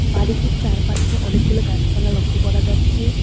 বাড়িটির চারপাশে অনেকগুলো গাছপালা লক্ষ্য করা যাচ্ছে।